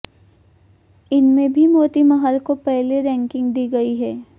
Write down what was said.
इनमें भी मोतीमहल को पहली रैंकिंग दी गई है